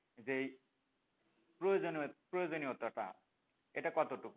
যেই প্রয়োজনীয় প্রয়োজনীয়তাটা এটা কতটুকু?